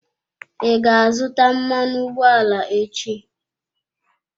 I ga-azụta mmanụ ụgbọala echi?